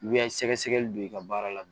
I bɛ sɛgɛsɛgɛli don i ka baara la